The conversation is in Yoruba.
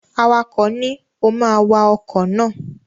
Awakọ̀ ni, "o ma wa ọkọ̀ náà!"